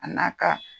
A n'a ka